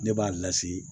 Ne b'a lase